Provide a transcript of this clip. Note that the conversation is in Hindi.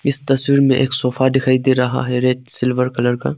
इस तस्वीर में एक सोफा दिखाई दे रहा है रेड सिल्वर कलर का।